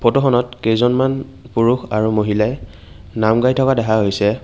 ফটোখনত কেইজনমান পুৰুষ আৰু মহিলাই নাম গাই থকা দেখা গৈছে।